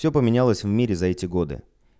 все поменялось в мире за эти годы